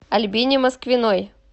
альбине москвиной